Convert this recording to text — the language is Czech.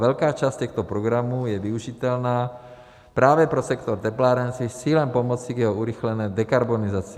Velká část těchto programů je využitelná právě pro sektor teplárenství s cílem pomoci k jeho urychlené dekarbonizaci.